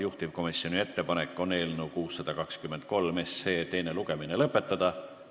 Juhtivkomisjoni ettepanek on eelnõu 623 teine lugemine lõpetada.